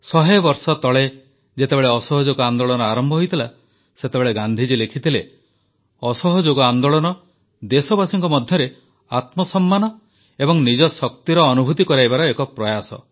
ଶହେ ବର୍ଷ ତଳେ ଯେତେବେଳେ ଅସହଯୋଗ ଆନ୍ଦୋଳନ ଆରମ୍ଭ ହୋଇଥିଲା ସେତେବେଳେ ଗାନ୍ଧିଜୀ ଲେଖିଥିଲେ ଅସହଯୋଗ ଆନ୍ଦୋଳନ ଦେଶବାସୀଙ୍କ ମଧ୍ୟରେ ଆତ୍ମସମ୍ମାନ ଏବଂ ନିଜର ଶକ୍ତିର ଅନୁଭୂତି କରାଇବାର ଏକ ପ୍ରୟାସ